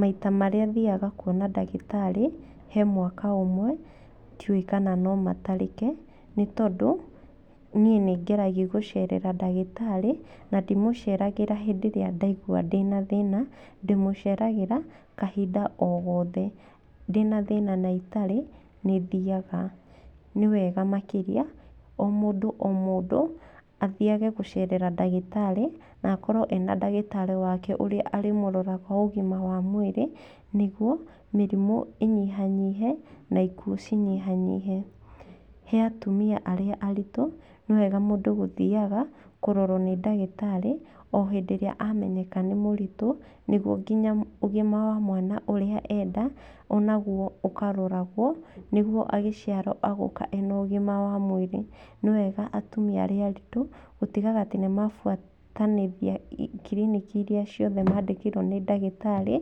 Maita marĩa thiaga kuona ndagĩtarĩ, he mwaka ũmwe, ndiũwĩ kana no matarĩke. Nĩ tondũ, niĩ nĩ ngeragi gũcerera ndagĩtarĩ, na ndimũceragĩra hĩndĩ ĩrĩa ndaigua ndĩna thĩna, ndĩmũceragĩra, kahinda o gothe. Ndĩna thĩna na itarĩ, nĩ thiaga. Nĩ wega makĩria, o mũndũ o mũndũ, athiage gũcerera ndagĩtarĩ, na akorwo ena ndagĩtarĩ wake ũrĩa arĩmũroraga ũgima wa mwĩrĩ, nĩguo, mĩrimũ ĩnyihanyihe, na ikuũ cinyihanyihe. He atumia arĩa aritũ, nĩ wega mũndũ gũthiaga, kũrorwo nĩ ndagĩtarĩ, o hĩndĩ ĩrĩa amenyeka nĩ mũritũ, nĩguo nginya ũgima wa mwana ũrĩa e nda, onaguo ũkaroragwo, nĩguo agĩciarwo agoka ena ũgima wa mwĩrĩ. Nĩ wega atumia arĩa aritũ, gũtigaga atĩ nĩ mabuatanĩria kiriniki irĩa ciothe maandĩkĩirwo nĩ ndagĩtarĩ,